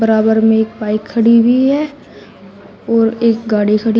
बराबर में एक बाइक खड़ी हुई है और एक गाड़ी खड़ी--